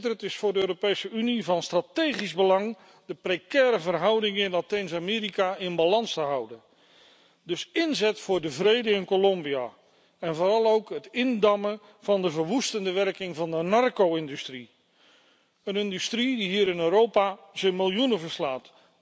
Het is voor de Europese Unie van strategisch belang de precaire verhoudingen in Latijns Amerika in balans te houden, dus inzet voor de vrede in Colombia en vooral ook het indammen van de verwoestende werking van de narco industrie, een industrie die hier in Europa in de miljoenen loopt.